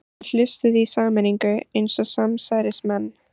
Þeir hlustuðu í sameiningu eins og samsærismenn.